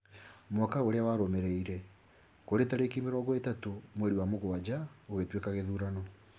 Mwaka ũrĩa warũmĩrĩire, kũrĩ tareki mĩrongo ĩtatũ mweri wa mũgwanja , gũgĩtuĩka gĩthurano